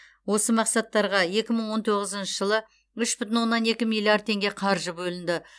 осы мақсаттарға екі мың он тоғызыншы жылы үш бүтін оннан екі миллиард теңге қаржы бөлінді